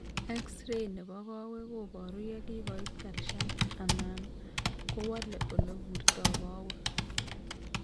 X rays nebo koweg koboru yekokibet calcium anan kowole ole burto koweg